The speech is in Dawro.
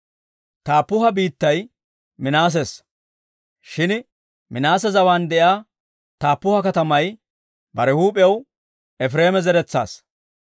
Taappuha biittay Minaasessa; shin Minaase zawaan de'iyaa Taappuha katamay bare huup'iyaw Efireema zaratuwaassa.